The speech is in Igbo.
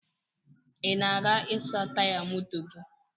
Ị na-aga ịsa taya moto gi?